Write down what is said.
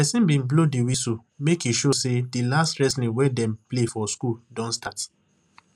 person bin blow di whistle make e show say di last wrestling wey dem play for school don start